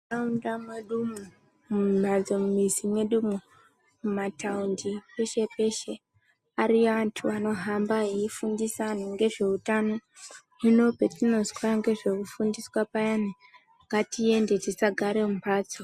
Muntaraunda mwedu umu, mumhatso mumizi medu umu, mumataundi ariyo antu anohamba eyifundisa antu ngezveutano. Hino patinozwa ngezvekufundisa payani ngatiende tisagare mumbatso.